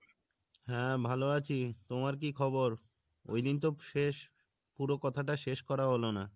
হ্যাঁ ভালো আছি, তোমার কী খবর? ওই দিন তো শেষ পুরো কথাটা শেষ করা হলো না